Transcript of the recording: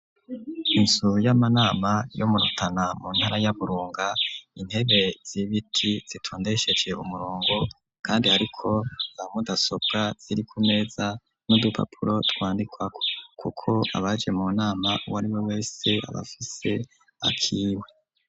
Inzu y'amanama yo mu Rutana mu ntara ya Burunga, intebe z'ibiti zitondesheje umurongo kandi ziriko za mudasobra ziri ku meza, n'udupapuro twandikwako kuko abaje mu nama, uwo ariwe wese aba afise akiwe.